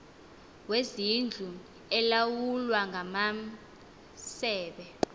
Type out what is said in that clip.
kwezindlu elawulwa ngamasebe